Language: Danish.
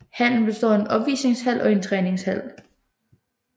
Hallen består af en opvisningshal og en træningshal